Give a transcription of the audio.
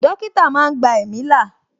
Dókítà máa ń gba ẹ̀mí là